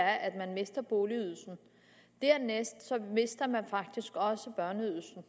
er at man mister boligydelsen og dernæst mister man faktisk også børneydelsen